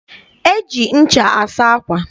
E ji ncha asa ákwà.